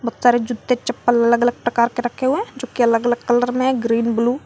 बहुत सारे जूते चप्पल अलग अलग प्रकार के रखे हुए हैं जो की अलग अलग कलर में ग्रीन ब्लू ।